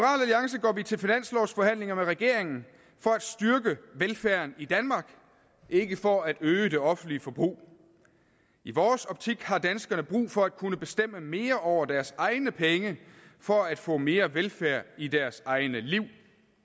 vi til finanslovsforhandlinger med regeringen for at styrke velfærden i danmark ikke for at øge det offentlige forbrug i vores optik har danskerne brug for at kunne bestemme mere over deres egne penge for at få mere velfærd i deres egne liv